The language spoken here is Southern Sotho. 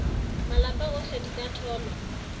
malapa ohle di ka tholwa